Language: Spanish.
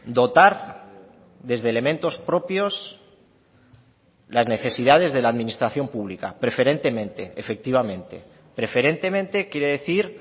dotar desde elementos propios las necesidades de la administración pública preferentemente efectivamente preferentemente quiere decir